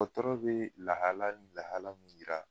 Dɔgɔtɔrɔ be lahala ni lahala yira